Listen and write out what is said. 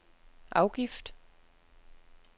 afgift